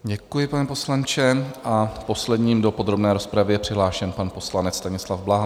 Děkuji, pane poslanče, a posledním do podrobné rozpravy je přihlášen pan poslanec Stanislav Blaha.